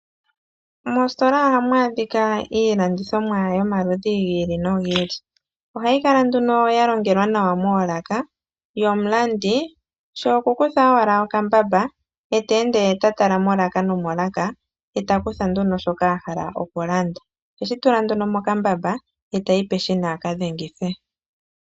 Moositola ohamu adhika iilandithomwa yo maludhi gi ili nogi ili. Ohayi kala nduno ya pakelwa nawa moolaka, omulandi she oku kutha owala okambamba ye ta ende ta tala molaka no molaka noku kutha nduno shoka a hala oku landa. Oheshi tula nduno mokambamba, tayi peshina aka dhengithe.